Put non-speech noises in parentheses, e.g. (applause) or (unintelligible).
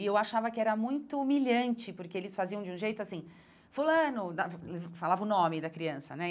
E eu achava que era muito humilhante, porque eles faziam de um jeito assim, fulano, (unintelligible) falava o nome da criança, né?